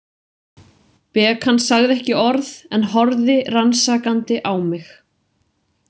Bekan sagði ekki orð en horfði rannsakandi á mig.